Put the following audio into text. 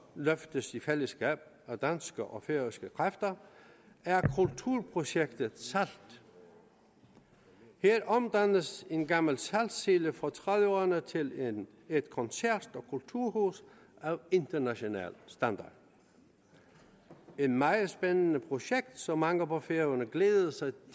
løftes i fællesskab af danske og færøske kræfter er kulturprojektet salt her omdannes en gammel saltsilo fra nitten tredive ’erne til et koncert og kulturhus af international standard et meget spændende projekt som mange på færøerne glæder sig